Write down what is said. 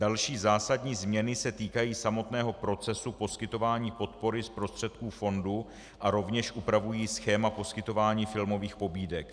Další zásadní změny se týkají samotného procesu poskytování podpory z prostředků fondu a rovněž upravují schéma poskytování filmových pobídek.